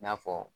I n'a fɔ